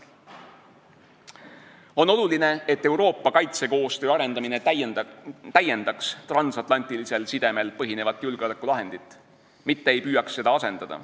On oluline, et Euroopa kaitsekoostöö arendamine täiendaks transatlantilisel sidemel põhinevat julgeolekulahendit, mitte ei püüaks seda asendada.